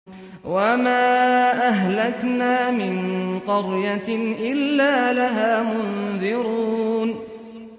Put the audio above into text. وَمَا أَهْلَكْنَا مِن قَرْيَةٍ إِلَّا لَهَا مُنذِرُونَ